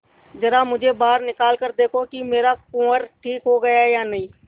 जरा मुझे बाहर निकाल कर देखो कि मेरा कुंवर ठीक हो गया है या नहीं